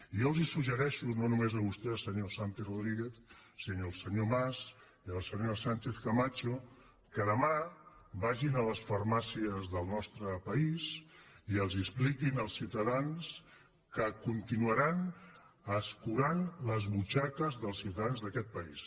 jo els suggereixo no només a vostè senyor santi rodríguez sinó al senyor mas i a la senyora sánchez camacho que demà vagin a les farmàcies del nostre país i els expliquin als ciutadans que continuaran escurant les butxaques dels ciutadans d’a quest país